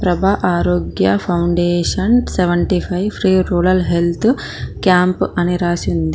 ప్రభ Arogya foundation seventy five free rural health camp అని రాసి ఉంది.